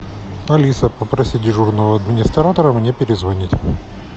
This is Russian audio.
алиса попроси дежурного администратора мне перезвонить